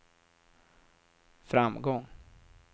framgång